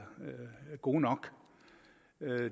gode nok